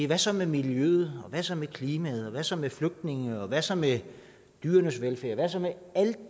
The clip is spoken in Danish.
hvad så med miljøet og hvad så med klimaet og hvad så med flygtninge og hvad så med dyrenes velfærd hvad så med alt